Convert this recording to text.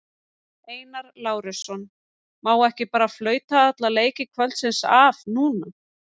Einar Lárusson: Má ekki bara flauta alla leiki kvöldsins af núna?